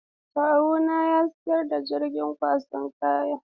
Kawunku ya sayi jirgin dakon kayan?